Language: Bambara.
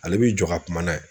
Ale b'i jɔ ka kuma n'a ye